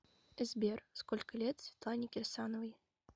сбер сколько лет светлане кирсановой